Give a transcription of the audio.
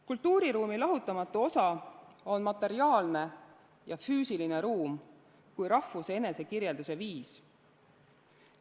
Kultuuriruumi lahutamatu osa on materiaalne ja füüsiline ruum kui rahvuse enesekirjelduse viis.